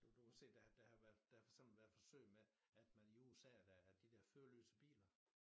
Nu du kan se der der har været der har for eksempel været forsøg med at man i USA dér at de dér føreløse biler